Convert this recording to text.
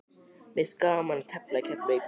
Mér finnst gaman að tefla í Keflavík.